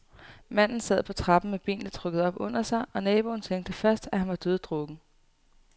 Manden sad på trappen med benene trukket op under sig, og naboen tænkte først, at han var døddrukken.